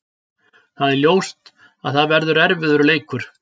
Það er ljóst að það verður erfiður leikur.